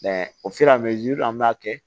o an b'a kɛ